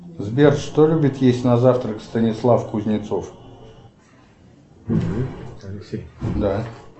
сбер что любит есть на завтрак станислав кузнецов